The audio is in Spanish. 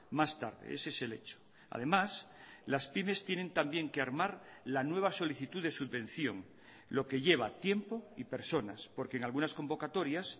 más tarde ese es el hecho además las pymes tienen también que armar la nueva solicitud de subvención lo que lleva tiempo y personas porque en algunas convocatorias